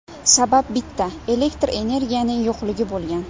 Sabab bitta elektr energiyaning yo‘qligi bo‘lgan.